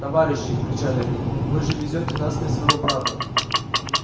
товарищи кричали они вы же везёте на смерть своего брата